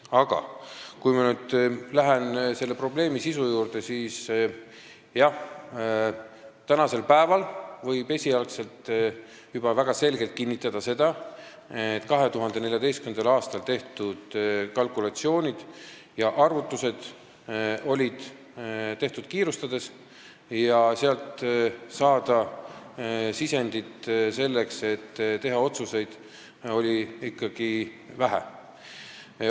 Aga kui ma nüüd lähen probleemi sisu juurde, siis jah, täna võib juba väga selgelt kinnitada, et 2014. aastal tehtud kalkulatsioonid ja arvutused olid tehtud kiirustades ning sisendit oli selleks, et teha otsuseid, ikkagi vähe.